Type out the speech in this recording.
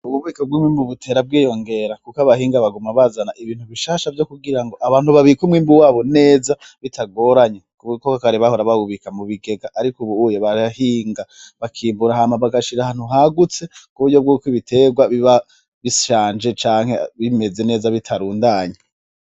Ububiko bw'umwimbu buguma bwiyongera kuko abahinga baguma bazana ibintu bishasha vyose kugirango abantu babike umwimbu wabo neza bitagoranye. Kuko kare bahora bawubika mubigega ariko Ubu bararima bakimburira Hama bagashira ahantu hagutse kuburyo bwuko ibitegwa biba bishanje canke bimeze neza bitarundanye.